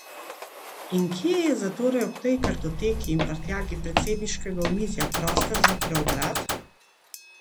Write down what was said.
In kje je zatorej ob tej kartoteki in prtljagi predsedniškega omizja prostor za preobrat?